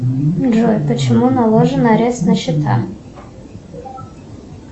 джой почему наложен арест на счета